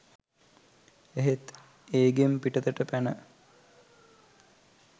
එහෙත් ඒ ගෙන් පිටතට පැන